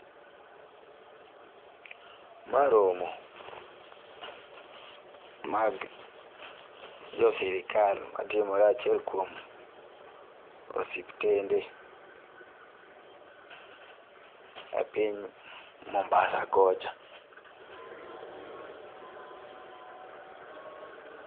Ma romo mag jo Sirikal matimore achiel kuom osiptende e piny mombasa kocha